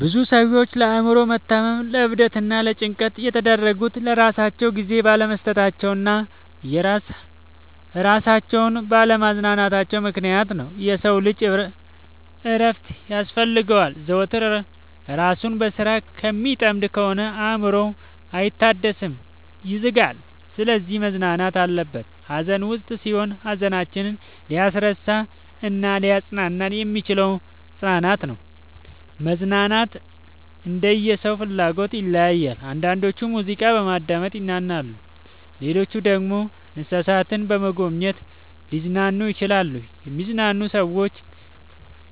ብዙ ሰዎች ለአእምሮ መታመም ለዕብደት እና ለጭንቀት የተዳረጉት ለራሳቸው ጊዜ ባለመስጠታቸው እና እራሳቸውን ባለ ማዝናናታቸው ምክንያት ነው። የሰው ልጅ እረፍት ያስፈልገዋል። ዘወትር እራሱን በስራ ከሚጠምድ ከሆነ አእምሮው አይታደስም ይዝጋል። ስለዚህ መዝናናት አለበት። ሀዘን ውስጥ ስንሆን ሀዘናችንን ሊያስረሳን እናሊያፅናናን የሚችለው መዝናናት ነው። መዝናናኛ እንደየ ሰው ፍላጎት ይለያያል። አንዳንዶች ሙዚቃ በማዳመጥ ይዝናናሉ ሌሎች ደግሞ እንሰሳትን በመጎብኘት ሊዝናኑ ይችላሉ። የሚዝናኑ ሰዎች